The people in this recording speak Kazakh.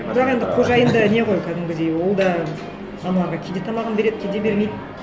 бірақ енді қожайын да не ғой кәдімгідей ол да жануарға кейде тамағын береді кейде бермейді